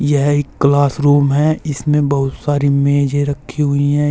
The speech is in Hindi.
यह एक क्लास रूम है इसमें बहुत सारी मेजे रखी हुई हैं।